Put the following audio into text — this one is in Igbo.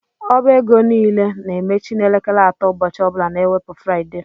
Ọba égo niile na-emechi n' elekere atọ ụbọchị ọbula na ewepu Fruaide.